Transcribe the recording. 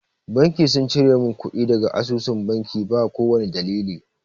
Banki sun cire mun kuɗi daga asusun banki na ba kowani dalili